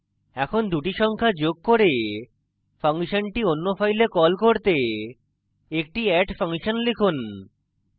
এখন দুটি সংখ্যা যোগ করে ফাংশনটি অন্য file call করতে একটি add ফাংশন লিখুন